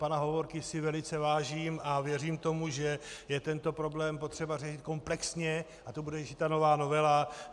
Pana Hovorky si velice vážím a věřím tomu, že je tento problém potřeba řešit komplexně, a to bude řešit ta nová novela.